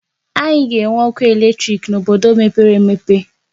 Anyị ga-enwe ọkụ eletrik n'obodo mepere emepe.